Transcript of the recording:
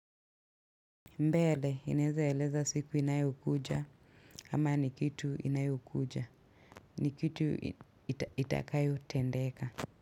Mbele, inaeza eleza siku inayokuja, ama ni kitu inayokuja, ni kitu itakayotendeka.